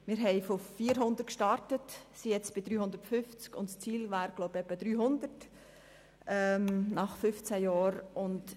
Wir starteten bei 450 Gemeinden, sind jetzt bei 350 Gemeinden, und das Ziel wäre es, glaube ich, bei etwa 300 Gemeinden zu landen.